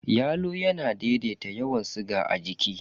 Yalo yana daidaita yawan siga a jiki.